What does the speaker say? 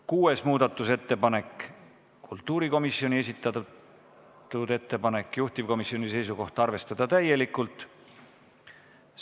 Kuues muudatusettepanek on kultuurikomisjoni esitatud, juhtivkomisjoni seisukoht on arvestada täielikult.